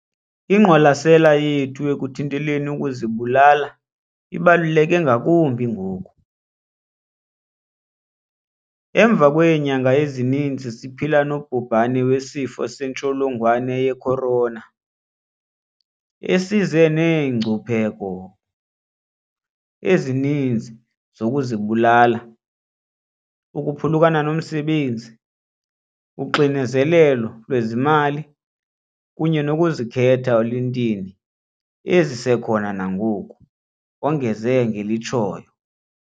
"Inqwalasela yethu ekuthinteleni ukuzibulala ibaluleke ngakumbi ngoku, emva kweenyanga ezininzi siphila nobhubhane weSifo sentsholongwane ye-Corona, esize neengcipheko ezininzi zokuzibulala ukuphulukana nomsebenzi, uxinzelelo lwezezimali kunye nokuzikhetha eluntwini ezisekhona nangoku," wongeze ngelitshoyo.